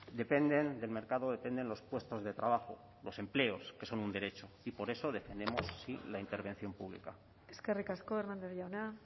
dependen del mercado dependen los puestos de trabajo los empleos que son un derecho y por eso defendemos la intervención pública eskerrik asko hernández jauna